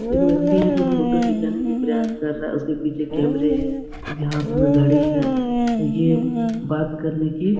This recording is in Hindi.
एक व्यक्ति है जो फोटो खींचाने के प्रयास कर रहा है उसके पीछे कैमरे अभी हाथ में घड़ी है ये बात करने की --